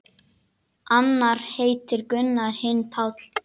Annar heitir Gunnar, hinn Páll.